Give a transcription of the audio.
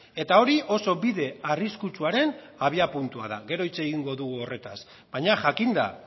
eta hori oso bide arriskutsuaren abiapuntua da gero hitz egingo dugu horretaz baina jakinda